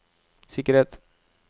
sikkerhet